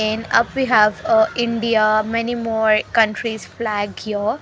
in up we have uh india many more country's flag here.